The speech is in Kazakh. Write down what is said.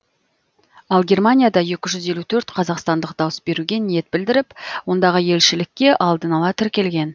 ал германияда екі жүз елу төрт қазақстандық дауыс беруге ниет білдіріп ондағы елшілікке алдын ала тіркелген